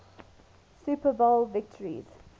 super bowl victories